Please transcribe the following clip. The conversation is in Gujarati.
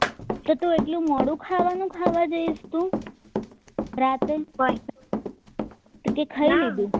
એટલું મોડો ખાવાનું ખાઈ જઈશ તું રાત્રે કે ખાઈ લીધું